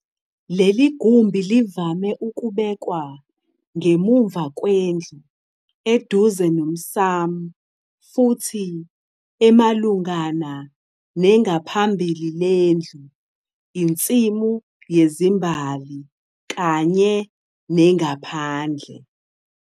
Leli gumbi livame ukubekwa ngemuva kwendlu, eduze nomsamu futhi emalungana nengaphambhili lendlu, insimu yezimbhali kanye nengaphandle.